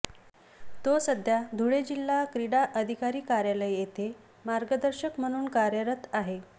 तो सध्या धुळे जिल्हा क्रीडा अधिकारी कार्यालय येथे मार्गदर्शक म्हणून कार्यरत आहे